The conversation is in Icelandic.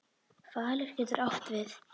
Falur getur átt við